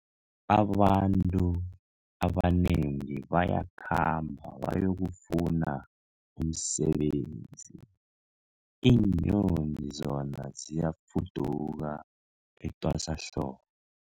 Abantu abanengi bayakhamba bayokufuna umsebenzi, iinyoni zona ziyafuduka etwasahlobo.